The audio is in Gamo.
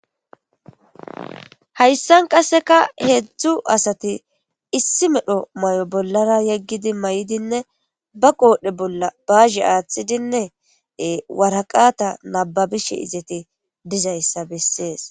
hayssan qasseka heedzdzu asati issi medho may7o bollara yeggidi may7idinne ba qoodhdhe bolla baazhe aaththidinne waraqata nababishe izeti dizayssa bessees